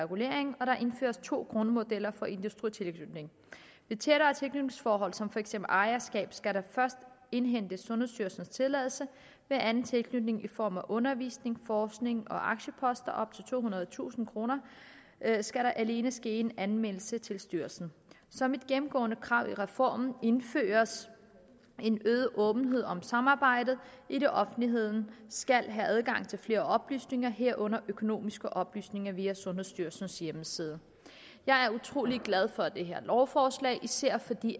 reguleringen og der indføres to grundmodeller for industritilknytning ved tættere tilknytningsforhold som for eksempel ejerskab skal der først indhentes sundhedsstyrelsens tilladelse ved anden tilknytning i form af undervisning forskning og aktieposter op til tohundredetusind kroner skal der alene ske en anmeldelse til styrelsen som et gennemgående krav i reformen indføres en øget åbenhed om samarbejdet idet offentligheden skal have adgang til flere oplysninger herunder økonomiske oplysninger via sundhedsstyrelsens hjemmeside jeg er utrolig glad for det her lovforslag især fordi